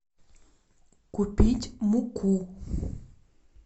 купить муку